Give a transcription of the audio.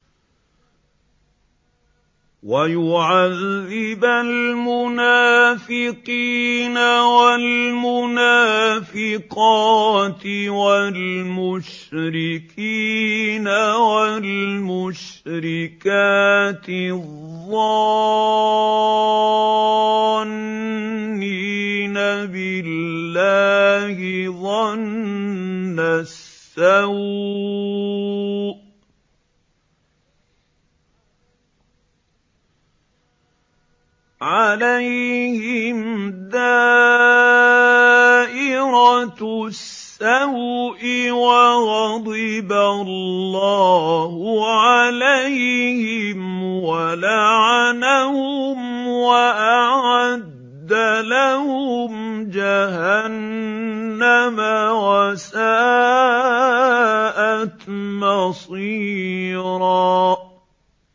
وَيُعَذِّبَ الْمُنَافِقِينَ وَالْمُنَافِقَاتِ وَالْمُشْرِكِينَ وَالْمُشْرِكَاتِ الظَّانِّينَ بِاللَّهِ ظَنَّ السَّوْءِ ۚ عَلَيْهِمْ دَائِرَةُ السَّوْءِ ۖ وَغَضِبَ اللَّهُ عَلَيْهِمْ وَلَعَنَهُمْ وَأَعَدَّ لَهُمْ جَهَنَّمَ ۖ وَسَاءَتْ مَصِيرًا